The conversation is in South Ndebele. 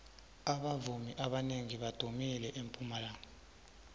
abavumi abanengi badumile empumalanga